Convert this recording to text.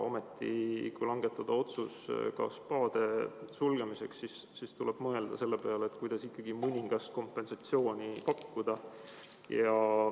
Ometi, kui langetada otsus spaade sulgemiseks, siis tuleb mõelda selle peale, kuidas ikkagi mõningast kompensatsiooni pakkuda.